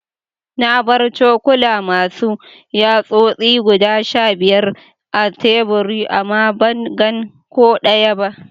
Na bar cokula Masu yatsosi guda Sha biyar a tebur ama ban gan ko daya ba.